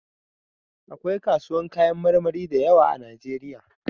Akwai kasuwan kayan marmari da yawa a najeriya